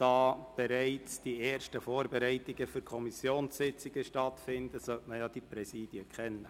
Da bereits die ersten Vorbereitungen für Kommissionssitzungen laufen, sollte man die Präsidien kennen.